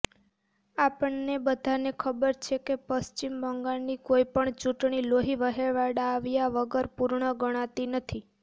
આપણને બધાને ખબર છે કે પશ્ચિમ બંગાળની કોઇપણ ચૂંટણી લોહી વહેવડાવ્યા વગર પૂર્ણ ગણાતી નથી